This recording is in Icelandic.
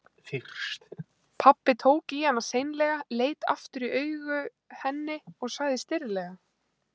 Pabbi tók í hana seinlega, leit aftur í augu henni og sagði stirðlega